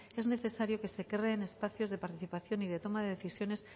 es necesario que se creen espacios de participación y de toma de decisiones